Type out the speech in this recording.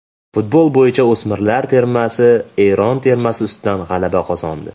Futbol bo‘yicha o‘smirlar termasi Eron termasi ustidan g‘alaba qozondi.